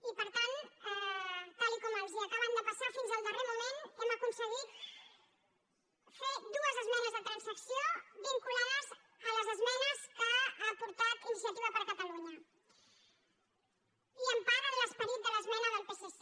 i per tant tal com els acaben de passar fins al darrer moment hem aconseguit fer dues esmenes de transacció vinculades a les esmenes que ha aportat iniciativa per catalunya i en part a l’esperit de l’esmena del psc